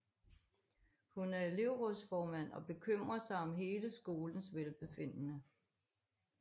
Hun er elevrådsformand og bekymrer sig om hele skolens velbefindende